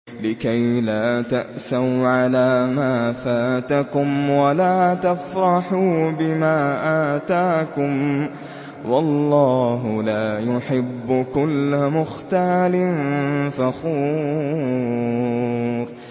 لِّكَيْلَا تَأْسَوْا عَلَىٰ مَا فَاتَكُمْ وَلَا تَفْرَحُوا بِمَا آتَاكُمْ ۗ وَاللَّهُ لَا يُحِبُّ كُلَّ مُخْتَالٍ فَخُورٍ